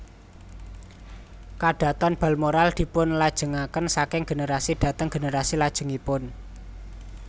KadhatonBalmoral dipunlajengaken saking generasi dhateng generasi lajengipun